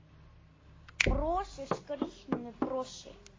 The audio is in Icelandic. Brosir skrýtnu brosi.